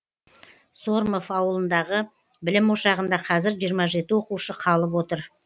сормов ауылындағы білім ошағында қазір жиырма жеті оқушы қалып отыр